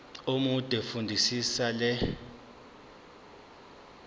omude fundisisa le